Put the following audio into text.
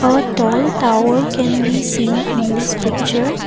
A tall tower can be seen in this picture.